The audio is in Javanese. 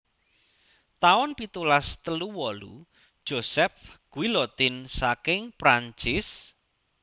taun pitulas telu wolu Joseph Guillotin saking Prancis